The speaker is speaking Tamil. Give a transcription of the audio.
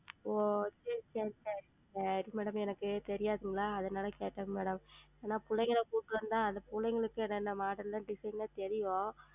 ஓ சேரி சேரி சேரி ma'am அது madam எனக்கு தெரியாதுங்ளா அதுனால கேட்டேங்க Madam ஏனா பிள்ளைங்கள கூட்டு வந்தா அந்த பிள்ளைங்ளுக்கு எதா இந்த ModelDesign ல்லாம் தெரியும்.